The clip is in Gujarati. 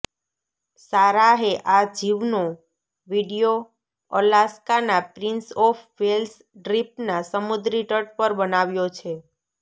સારાહે આ જીવનો વીડિયો અલાસ્કાનાં પ્રિંસ ઓફ વેલ્સ દ્વીપના સમુદ્રી તટ પર બનાવ્યો છે